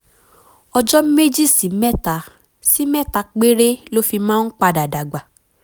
ọjọ́ méjì sí mẹ́ta sí mẹ́ta péré ló fi máa ń padà dàgbà